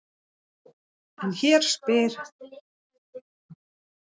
En hér spyr sá sem ekki veit.